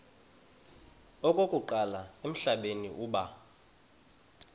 okokuqala emhlabeni uba